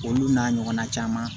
Olu n'a ɲɔgɔnna caman